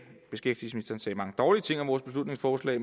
mange dårlige ting om vores beslutningsforslag